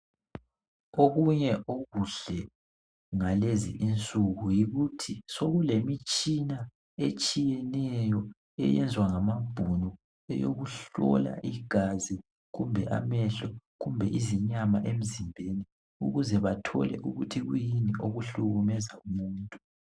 Okunye okuhle ngalezi insuku yikuthi sokulemitshina etshiyeneyo eyenzwa ngamabhunu eyokuhlola igazi kumbe amehlo kumbe izinyama emzimbeni ukuze bathole ukuthi kuyini okuhlukumeza umuntu.